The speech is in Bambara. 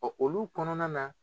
Ɔ olu kɔnɔna na